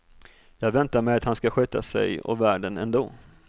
Jag väntar mig att han ska sköta sig och världen ändå.